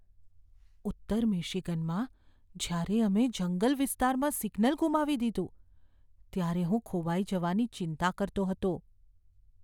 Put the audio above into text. ઉત્તર મિશિગનમાં જ્યારે અમે જંગલ વિસ્તારમાં સિગ્નલ ગુમાવી દીધું, ત્યારે હું ખોવાઈ જવાની ચિંતા કરતો હતો.